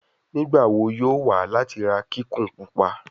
Nigbawo yoo wa lati ra kikun pupa